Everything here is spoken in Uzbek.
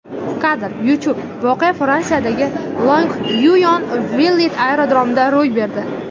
Kadr: YouTube Voqea Fransiyadagi Longyuyon-Villet aerodromida ro‘y berdi.